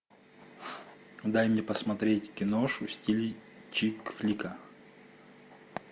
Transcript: дай мне посмотреть киношу в стиле чик флика